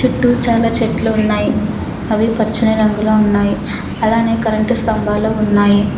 చుట్టూ చాలా చెట్లు ఉన్నాయ్ అవి పచ్చని రంగులో ఉన్నాయ్ అలానే కరెంటు స్తంభాలు ఉన్నాయి.